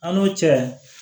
An n'o cɛ